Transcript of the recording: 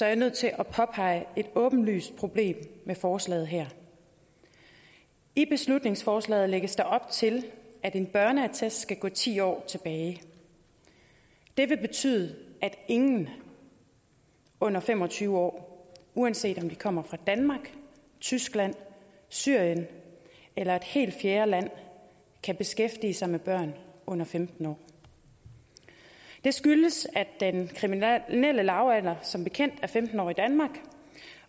jeg nødt til at påpege et åbenlyst problem med forslaget her i beslutningsforslaget lægges der op til at en børneattest skal gå ti år tilbage det vil betyde at ingen under fem og tyve år uanset om de kommer fra danmark tyskland syrien eller et helt fjerde land kan beskæftige sig med børn under femten år det skyldes at den kriminelle lavalder som bekendt er femten år i danmark